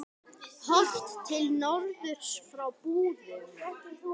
Horft til norðurs frá Búðum.